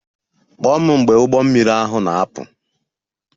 Kpọọ m mgbe ụgbọ mmiri ahụ na-apụ!